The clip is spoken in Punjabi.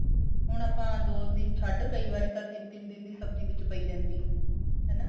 ਹੁਣ ਆਪਾਂ ਦੋ ਦਿਨ ਛੱਡ ਕਈ ਵਾਰੀ ਤਾਂ ਤਿੰਨ ਤਿੰਨ ਦਿਨ ਦੀ ਸਬਜੀ ਵਿੱਚ ਪਈ ਰਹਿੰਦੀ ਏ ਹਨਾ